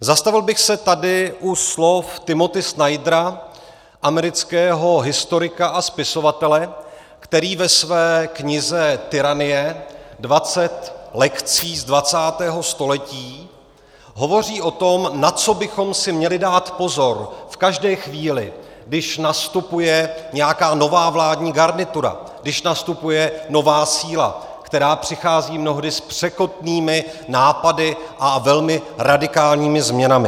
Zastavil bych se tady u slov Timothy Snydera, amerického historika a spisovatele, který ve své knize Tyranie, 20 lekcí z 20. století, hovoří o tom, na co bychom si měli dát pozor v každé chvíli, když nastupuje nějaká nová vládní garnitura, když nastupuje nová síla, která přichází mnohdy s překotnými nápady a velmi radikálními změnami.